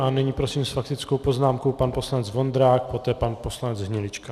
A nyní prosím s faktickou poznámkou pan poslanec Vondrák, poté pan poslanec Hnilička.